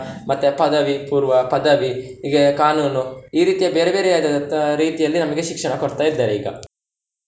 ಮತ್ತೆ ಪದವಿ ಪೂರ್ವ, ಪದವಿ ಹೀಗೆ ಕಾನೂನು ಈ ರೀತಿಯ ಬೇರೆ ಬೇರೆ ಆದಂತಹ ರೀತಿಯಲ್ಲಿ ನಮಗೆ ಶಿಕ್ಷಣ ಕೊಡ್ತಾ ಇದ್ದಾರೆ ಈಗ.